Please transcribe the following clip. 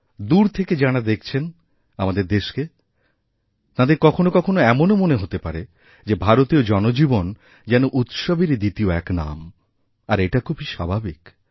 দূর থেকে যাঁরা দেখছেন আমাদের দেশকে তাঁদের কখনও কখনও এমনওমনে হতে পারে যে ভারতীয় জনজীবন যেন উৎসবেরই দ্বিতীয় এক নাম আর এটা খুবইস্বাভাবিক